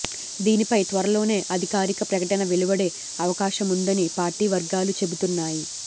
దీనిపై త్వరలోనే అధికారిక ప్రకటన వెలువడే అవకాశముందని పార్టీ వర్గాలు చెబుతున్నాయి